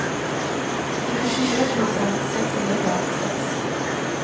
nittiofyra tusen sexhundrafemtiosex